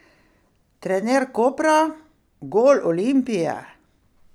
Trener Kopra: "Gol Olimpije?